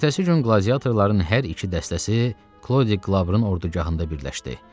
Ertəsi gün qladiyatorların hər iki dəstəsi Klodi Qlaburun ordugahında birləşdi.